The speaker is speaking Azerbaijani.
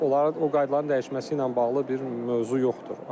Onları o qaydaların dəyişməsi ilə bağlı bir mövzu yoxdur.